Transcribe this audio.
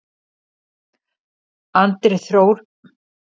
Andri Þór Besti samherjinn?